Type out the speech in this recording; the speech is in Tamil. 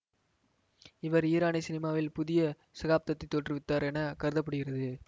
இவர் ஈரனிய சினிமாவில் புதிய சகாப்தத்தைத் தோற்றுவித்தவர் என கருத படுகிறது